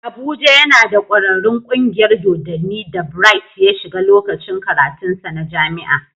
Abuja yana da ƙwararrun kungiyar dodanni da Bright ya shiga lokacin karatunsa na jami'a.